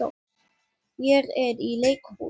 Ég er í leikhúsi.